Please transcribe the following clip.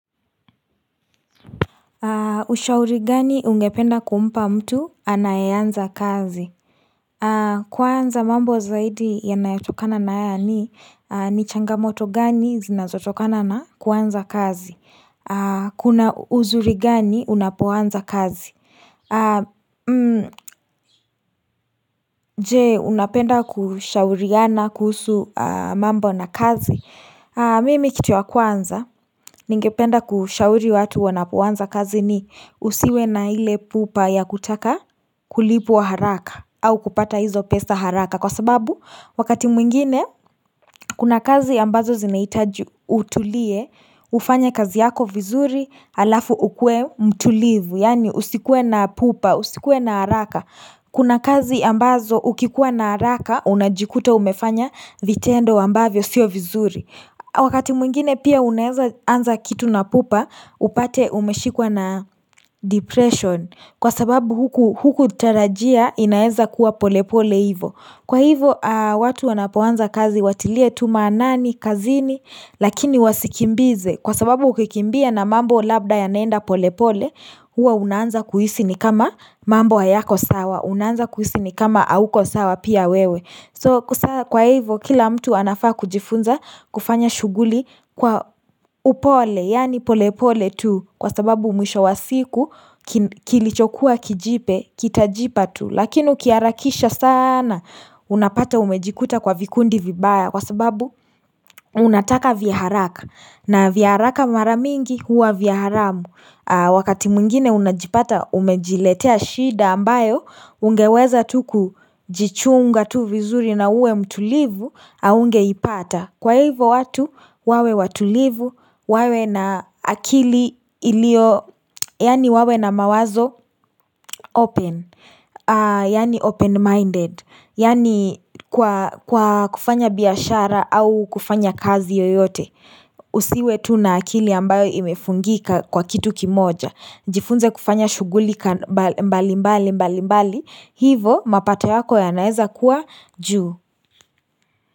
Ushauri gani ungependa kumpa mtu anayeanza kazi? Kwanza mambo zaidi yanayotokana na haya ni ni changamoto gani zinazotokana na kuanza kazi? Kuna uzuri gani unapoanza kazi? Je, unapenda kushauriana kuhusu mambo na kazi? Mimi kitu wa kwanza ningependa kushauri watu wanapoanza kazi ni usiwe na ile pupa ya kutaka kulipwa haraka au kupata hizo pesa haraka kwa sababu wakati mwingine kuna kazi ambazo zinahitaji utulie ufanye kazi yako vizuri halafu ukuwe mtulivu yaani usikuwe na pupa usikuwe na haraka Kuna kazi ambazo ukikuwa na haraka, unajikuta umefanya vitendo ambavyo siyo vizuri. Wakati mwingine pia unaweza anza kitu na pupa, upate umeshikwa na depression. Kwa sababu hukutarajia inaeza kuwa polepole hivyo. Kwa hivyo, watu wanapoanza kazi watilie tu maanani kazini lakini wasikimbize. Kwa sababu ukikimbia na mambo labda yanaenda polepole huwa unanza kuhisi ni kama mambo hayako sawa unanza kuhisi ni kama hauko sawa pia wewe sasa kwa hivyo kila mtu anafaa kujifunza kufanya shughuli kwa upole yaani polepole tu kwa sababu mwisho wa siku kilichokuwa kijipe kitajipa tu lakini ukiharakisha sana unapata umejikuta kwa vikundi vibaya kwa sababu unataka vya haraka na vya haraka mara mingi huwa vya haramu wakati mwingine unajipata umejiletea shida ambayo ungeweza tu kujichunga tu vizuri na uwe mtulivu haungeipata. Kwa hivyo watu wawe watulivu, wawe na akili iliyo yaani wawe na mawazo open, yaani open-minded, yaani kwa kwa kufanya biashara au kufanya kazi yoyote Usiwe tu na akili ambayo imefungika kwa kitu kimoja. Jifunze kufanya shughuli mbalimbali mbalimbali hivyo mapato yako yanaweza kuwa juu.